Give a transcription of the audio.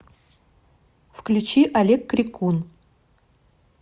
включи олег крикун